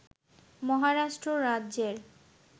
মহারাষ্ট্র রাজ্যের